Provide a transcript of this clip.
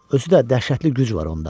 Özü də dəhşətli güc var onda.